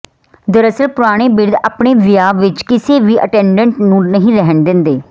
ਦਰਅਸਲ ਪੁਰਾਣੇ ਬਿਰਧ ਆਪਣੀ ਵਿਆਹ ਵਿਚ ਕਿਸੇ ਵੀ ਅਟੈਂਡੈਂਟ ਨੂੰ ਨਹੀਂ ਰਹਿਣ ਦਿੰਦੇ